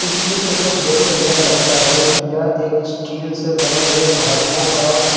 इस चित्र को देख की यह लगता है कि यह एक स्टील से बने हुए धातुओं का--